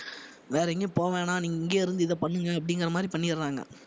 வேற எங்கயும் போவ வேணா நீங்க இங்கே இருந்து இதை பண்ணுங்க அப்படிங்கிற மாதிரி பண்ணிடறாங்க